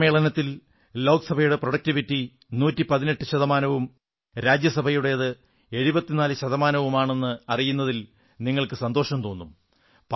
ഈ സമ്മേളനത്തിൽ ലോക്സഭയുടെ ഉത്പാദനക്ഷമത പ്രൊഡക്റ്റിവിറ്റി 118 ശതമാനവും രാജ്യസഭയുടേത് 74 ശതമാനവുമാണെന്നറിയുന്നതിൽ നിങ്ങൾക്കു സന്തോഷം തോന്നും